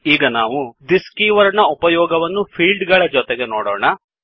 ಈಗ ನಾವು this this keyword ನ ಉಪಯೋಗವನ್ನು ಫೀಲ್ಡ್ ಗಳ ಜೊತೆಗೆ ನೋಡೊಣ